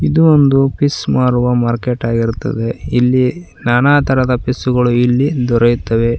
ಇದು ಒಂದು ಫಿಶ್ ಮಾರುವ ಮಾರ್ಕೆಟ್ ಆಗಿರುತ್ತದೆ ಇಲ್ಲಿ ನಾನಾ ತರದ ಫಿಶ್ ಗಳು ಇಲ್ಲಿ ದೊರೆಯುತ್ತವೆ.